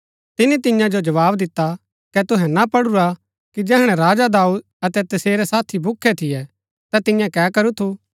तिनी तियां जो जवाव दिता कै तुहै ना पढुरा कि जैहणै राजा दाऊद अतै तसेरै साथी भूखै थियै ता तियें कै करू थू